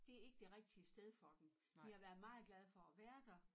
Det ikke det rigtige sted for dem de har været meget glade for at være der